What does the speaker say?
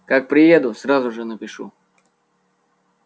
как приеду сразу же напишу